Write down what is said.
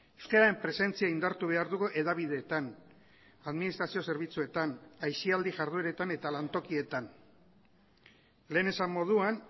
euskararen presentzia indartu behar dugu hedabideetan administrazio zerbitzuetan aisialdi jardueretan eta lantokietan lehen esan moduan